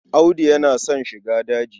Audu yana son shiga daji.